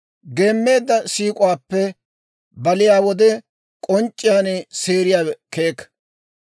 Geemmeedda siik'uwaappe baliyaa wode k'onc'c'iyaan seeriyaawe keeka.